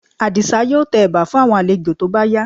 Àdìsá yóò tẹ ẹ̀bà fún àwọn àlejò tó bá yá